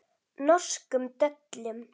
Norskum döllum.